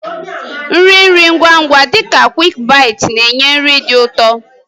Nri nri ngwa ngwa dị ka "QuickBites" na-enye nri dị ụtọ.